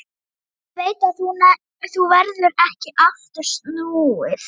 Ég veit að nú verður ekki aftur snúið.